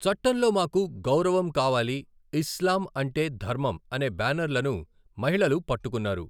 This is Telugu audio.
చట్టంలో మాకు గౌరవం కావాలి', 'ఇస్లాం అంటే ధర్మం' అనే బ్యానర్లను మహిళలు పట్టుకున్నారు.